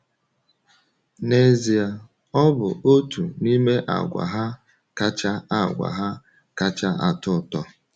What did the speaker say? N’ezie, ọ bụ otu n’ime àgwà ha kacha àgwà ha kacha atụ ụtọ.